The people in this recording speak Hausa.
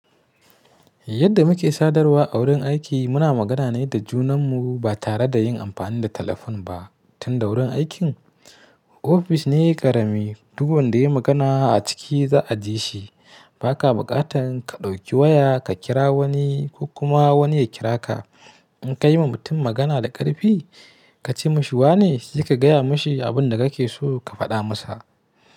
Yadda muke sadarwa a wurin aiki, muna magana ne da junanmu ba tare da yin amfani da telefon ba. Tunda wurin aikin office ne ƙarami, duk wanda ya yi magana a ciki za a ji shi. Ba ka buƙatar ka ɗauki waya ka kira wani ko kuma wani ya kira ka. In ka yi ma mutum magana da ƙarfi ka ce masa wane, sai ka gaya masa abin da kake so ka faɗa masa.